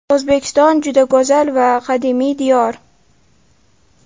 O‘zbekiston juda go‘zal va qadimiy diyor.